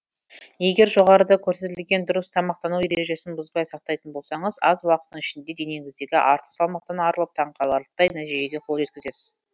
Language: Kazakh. егер жоғарыда көрсетілген дұрыс тамақтану ережесін бұзбай сақтайтын болсаңыз аз уақыттың ішінде денеңіздегі артық салмақтан арылып таңқаларлықтай нәтижеге қол жеткізесіз